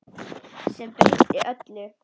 Sem breytti öllu.